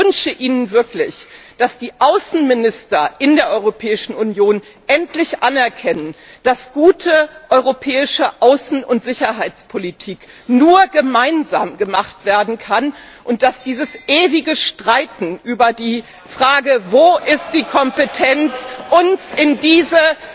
Ich wünsche ihnen wirklich, dass die Außenminister in der Europäischen Union endlich anerkennen, dass gute europäische Außen und Sicherheitspolitik nur gemeinsam gemacht werden kann und das ewige Streiten über die Frage, wo die Kompetenz liegt, uns in diese